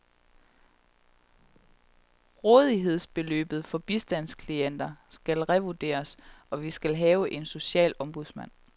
Rådighedsbeløbet for bistandsklienter skal revurderes, og vi skal have en social ombudsmand.